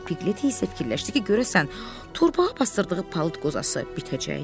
Piglet isə fikirləşdi ki, görəsən torbağa basdırdığı palıd qozası bitəcəkmi?